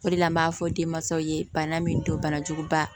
O de la an b'a fɔ denmansaw ye bana min don bana juguba